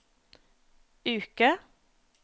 uke